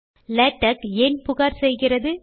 LaTeX ஏன் புகார் செய்கிறது